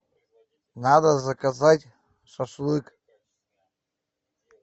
надо заказать шашлык